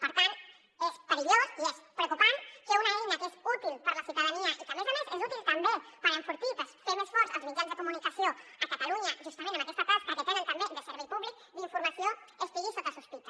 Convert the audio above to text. per tant és perillós i és preocupant que una eina que és útil per a la ciutadania i que a més a més és útil també per enfortir per fer més forts els mitjans de comuni·cació a catalunya justament en aquesta tasca que tenen també de servei públic d’in·formació estigui sota sospita